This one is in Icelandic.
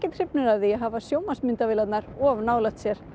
hrifnir af því að hafa of nálægt sér